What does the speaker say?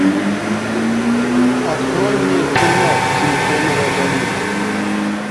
открой мне кино силиконовая долина